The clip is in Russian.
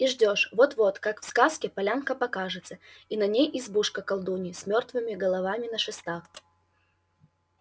и ждёшь вот-вот как в сказке полянка покажется и на ней избушка колдуньи с мёртвыми головами на шестах